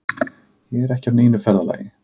Ég er ekki á neinu ferðalagi.